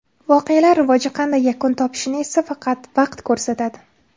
Voqealar rivoji qanday yakun topishini esa faqat vaqt ko‘rsatadi.